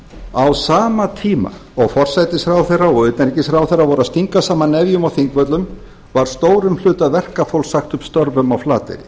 á sama tíma og forsætisráðherra og utanríkisráðherra voru að stinga saman nefjum á þingvöllum var stórum hluta verkafólks sagt upp störfum á flateyri